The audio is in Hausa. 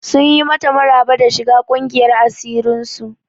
Sun yi mata maraba da shiga ƙungiyar asirin su.